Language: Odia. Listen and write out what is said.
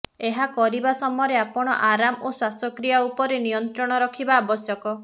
ଏହା କରିବା ସମରେ ଆପଣ ଆରମ ଓ ଶ୍ୱାସକ୍ରିୟା ଉପରେ ନିୟନ୍ତ୍ରଣ ରଖିବା ଆବଶ୍ୟକ